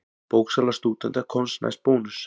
Bóksala stúdenta komst næst Bónus.